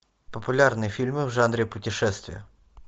популярные фильмы в жанре путешествия